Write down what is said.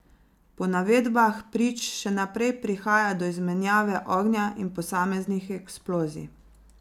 Po navedbah prič še naprej prihaja do izmenjave ognja in posameznih eksplozij.